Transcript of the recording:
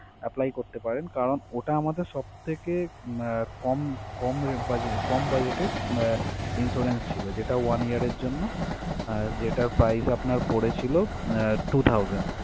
Apply করতে পারেন কারন ওটা আমাদের সবথেকে কম কম ra~ budg~ কম budget এর আহ Insurance ছিল যেটা one year এর জন্য যেটা price আপনার পড়েছিল two thousand ।